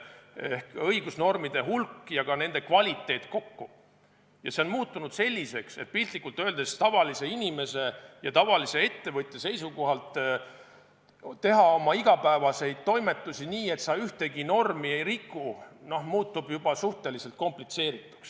Ehk õigusnormide hulk ja ka nende kvaliteet kokku on muutunud selliseks, et piltlikult öeldes tavalise inimese ja tavalise ettevõtja seisukohalt teha oma igapäevaseid toimetusi nii, et sa ühtegi normi ei riku, muutub juba suhteliselt komplitseerituks.